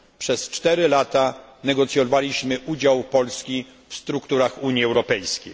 Przez 4 lata negocjowaliśmy udział Polski w strukturach Unii Europejskiej.